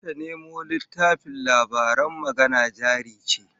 Zata nemo littafin labaran Magana Jari Ce